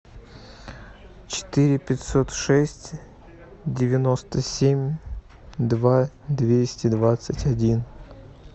четыре пятьсот шесть девяносто семь два двести двадцать один